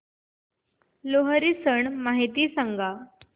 लोहरी सण माहिती सांगा